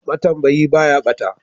Ma tambayi ɓaya bata.